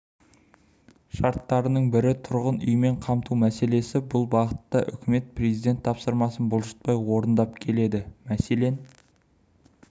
шарттарының бірі тұрғын үймен қамту мәселесі бұл бағытта үкімет президент тапсырмасын бұлжытпай орындап келеді мәселен